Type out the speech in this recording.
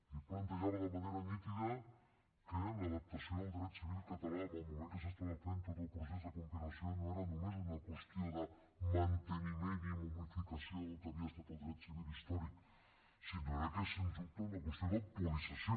ell plantejava de manera nítida que l’adaptació del dret civil català en el moment que s’estava fent tot el procés de compilació no era només una qüestió de manteniment i momificació del que havia estat el dret civil històric sinó que era sens dubte una qüestió d’actualització